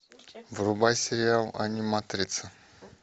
врубай сериал аниматрица